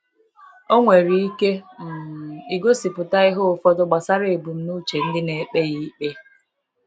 Ọ nwere ike um igosipụta ihe ụfọdụ gbasara ebumnuche ndị na ekpe ya ikpe.